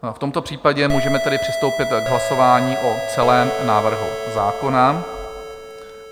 V tomto případě můžeme tedy přistoupit k hlasování o celém návrhu zákona.